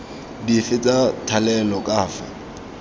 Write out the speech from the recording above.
dife tsa thalelo ka fa